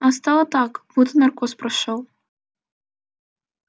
а стало так будто наркоз прошёл